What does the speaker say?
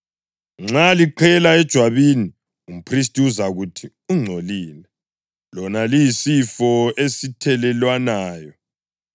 Nxa liqhela ejwabini, umphristi uzakuthi ungcolile, lona liyisifo esithelelwanayo.